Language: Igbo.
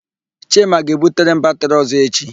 Chima ga-ebutere m batịrị ọ̀zọ́ echi.